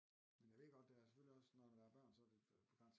Men er det ikke også det er selvfølgelig også når der er børn også så er det på grænsen